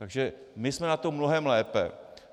Takže my jsme na tom mnohem lépe.